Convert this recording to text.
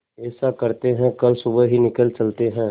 ऐसा करते है कल सुबह ही निकल चलते है